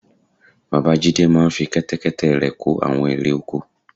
Bàbá Jídé máa fi Kẹ́tẹ́kẹ́tẹ́ rẹ̀ kó àwọn irè oko